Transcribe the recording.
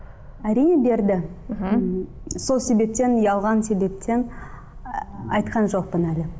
әрине берді мхм сол себептен ұялған себептен айтқан жоқпын әлі